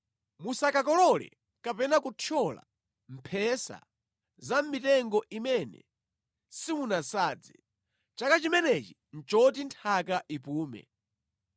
Musakolole zimene zinamera zokha mʼmunda mwanu. Musakakolole kapena kuthyola mphesa za mʼmitengo imene simunasadze. Chaka chimenechi nʼchoti nthaka ipumule.